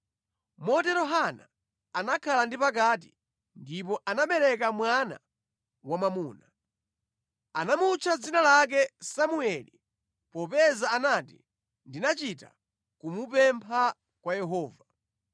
Motero Hana anakhala ndi pakati ndipo anabereka mwana wamwamuna. Anamutcha dzina lake Samueli, popeza anati, “Ndinachita kumupempha kwa Yehova.”